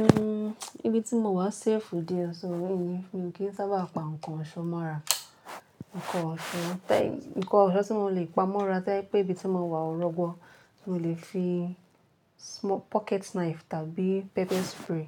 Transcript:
N, ibi tí mò wà safe díẹ̀ sọ́, mi kí í sábàà pá nkàn ọ̀ṣọ́ mọ́ rà, nkàn ọ̀ṣọ́ tàì nkàn ọ̀ṣọ́ tí mò lè pa mọ́ rà to je pé ìbí tí mò wà ọ̀ rọ̀gbọ́, mò lè fi small pocket knife tàbí pepper spray